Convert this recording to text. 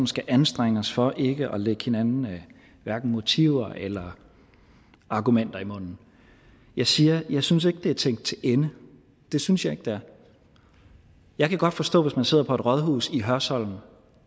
skal anstrenge os for ikke at lægge hinanden motiver eller argumenter i munden jeg siger jeg synes ikke det er tænkt til ende det synes jeg ikke det er jeg kan godt forstå hvis man sidder på et rådhus i hørsholm